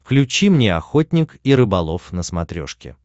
включи мне охотник и рыболов на смотрешке